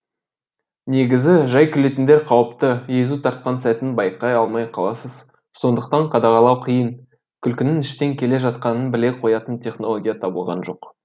негізі жай күлетіндер қауіпті езу тартқан сәтін байқай алмай қаласыз сондықтан қадағалау қиын күлкінің іштен келе жатқанын біле қоятын технология табылған жоқ